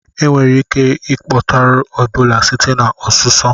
Enwere ike ịkpọtụrụ Ebola site na ọsụsọ